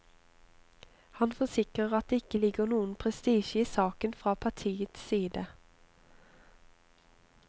Han forsikrer at det ikke ligger noen prestisje i saken fra partiets side.